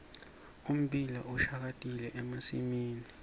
ummbila ushakatile emasimini